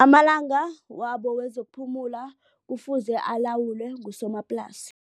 Amalanga wabo wezekuphumula kufuze alawulwe ngusomaplasi.